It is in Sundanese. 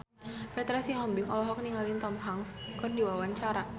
Petra Sihombing olohok ningali Tom Hanks keur diwawancara